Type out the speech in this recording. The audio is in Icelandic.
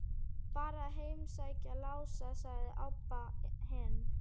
Bara að heimsækja Lása, sagði Abba hin.